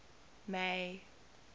may